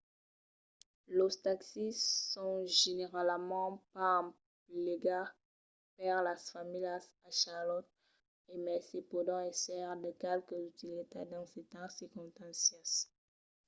los taxis son generalament pas emplegats per las familhas a charlotte e mai se pòdon èsser de qualque utilitat dins cèrtas circonstàncias